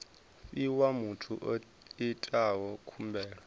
fhiwa muthu o itaho khumbelo